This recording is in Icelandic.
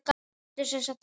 Ertu sem sagt að segja.